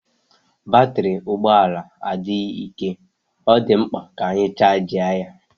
Batrị ụgbọ ala adịghị ike, ọ dị mkpa ka a chajị ya.